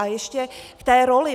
A ještě k té roli.